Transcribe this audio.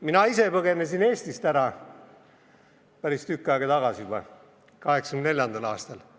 Mina ise põgenesin Eestist ära päris tükk aega tagasi juba, 1984. aastal.